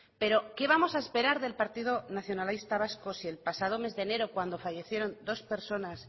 pero qué vamos a esperar del partido nacionalista vasco si el pasado mes de enero cuando fallecieron dos personas